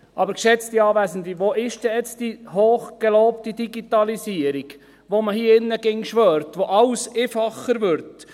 Aber geschätzte Anwesende: Wo ist denn nun die hochgelobte Digitalisierung, auf die man hier drin immer schwört, und dank der alles immer einfacher wird?